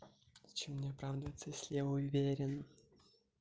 зачем мне оправдываться если я уверен